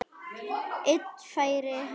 Einn færi hann ekki utan.